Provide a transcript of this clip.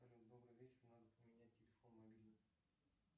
салют добрый вечер надо поменять телефон мобильный